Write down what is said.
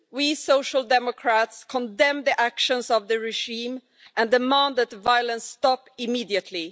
We Social Democrats condemn the actions of the regime and demand that the violence stop immediately.